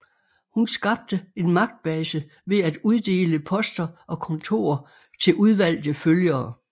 Hun skabte en magtbase ved at uddele poster og kontorer til udvalgte følgere